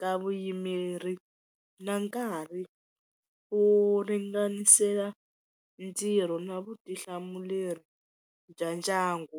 ka vuyimeri na nkarhi ku ringanisela ntirho na vutihlamuleri bya ndyangu.